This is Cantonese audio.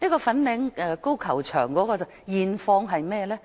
粉嶺高球場的現況如何？